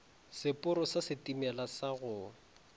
seporo sa setimela sa go